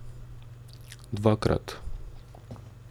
Dvakrat.